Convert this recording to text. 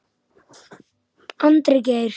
Andri Geir.